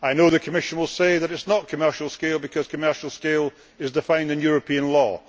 I know the Commission will say that it is not commercial scale' because commercial scale is defined in European law.